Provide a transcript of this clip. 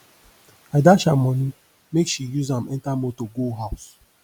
i dash am moni make she use am enter motor go house